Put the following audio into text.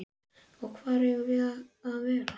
Og hvar eigum við að vera?